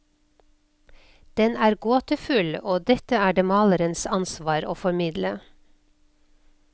Den er gåtefull, og dette er det malerens ansvar å formidle.